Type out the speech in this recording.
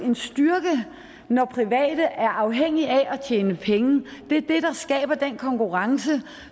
en styrke når private er afhængige af tjene penge det er det der skaber den konkurrence